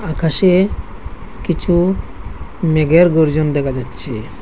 আকাশে কিছু মেঘের গর্জন দেখা যাচ্ছে।